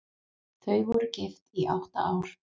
Þau voru gift í átta ár.